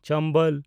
ᱪᱚᱢᱵᱚᱞ